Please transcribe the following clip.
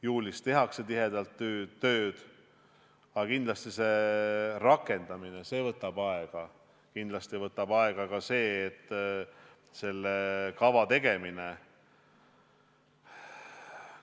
Juulis tehakse tihedalt tööd, aga kindlasti võtab rakendamine aega ja kindlasti võtab aega ka selle kava tegemine.